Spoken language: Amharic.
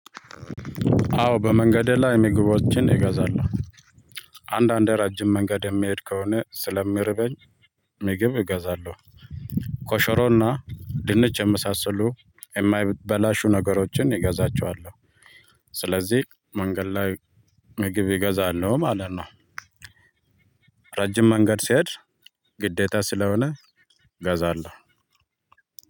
አዎ በመንገዴ ላይ ምግቦችን እገዛለሁ። አንዳንዴ ረጅም መንገድ የሚሄድ ከሆነ ስለሚርበኝ። ምግብ እገዛለሁ። ኮሾሮና ድንች የመሳሰሉ የማይበላሹ ነገሮችን እገዛቸዋለሁ። ስለዚህ መንገድ ላይ ምግብ እገዛለሁ ማለት ነው። ረጅም መንገድ ሲሄድ ግዴታ ስለሆነ ገዛለሁ።